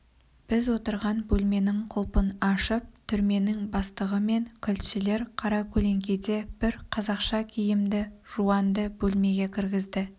біз отырған бөлменің құлпын ашып түрменің бастығы мен кілтшілер қаракөлеңкеде бір қазақша киімді жуанды бөлмеге кіргізді